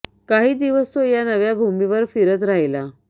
काही दिवस तो या नव्या भूमीवर फिरत राहिला